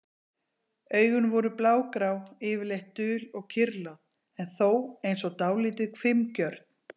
Augun voru blágrá, yfirleitt dul og kyrrlát, en þó eins og dálítið hvimgjörn.